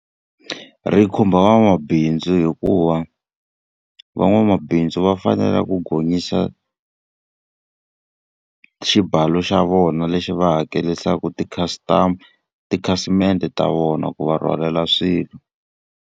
Ri khumba van'wamabindzu hikuva van'wamabindzu va fanele ku gonyisa xibalo xa vona lexi va hakerisaka ti-customer tikhasimende ta vona ku va rhwalela swilo.